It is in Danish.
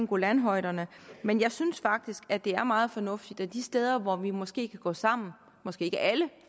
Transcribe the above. golanhøjderne men jeg synes faktisk at det er meget fornuftigt og de steder hvor vi måske kan gå sammen måske ikke alle